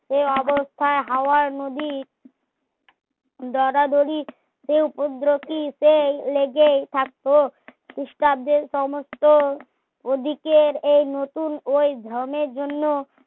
এ অবস্থার হাওয়ার নদী দরাদরি তে উপদ্রকি সেই লেগেই থাকতো ক্রিস্টাব্দের সমস্ত ওদিকের এই নতুন ওই ধরনের জন্যে